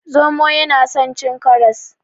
Zomo yana son cin karas.